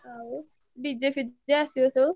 ଆଉ DJ ଫି~ ଜେ~ ଆସିବସବୁ।